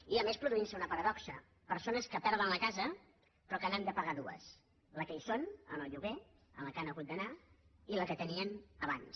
i a més es produeix una paradoxa persones que perden la casa però que n’han de pagar dues la que hi són amb el lloguer a la qual han hagut d’anar i la que tenien abans